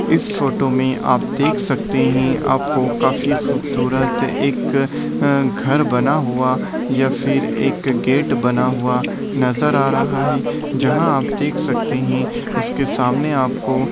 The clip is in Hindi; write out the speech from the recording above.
इस फोटो में आप देख सकते है आपको काफी खूबसूरत एक अ घर बना हुआ या फिर एक गेट बना हुआ नजर आ रहा है जहाँ आप देख सकते है उसके सामने आपको --